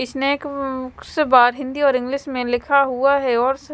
snake bar Hindi और English में लिखा हुआ है और--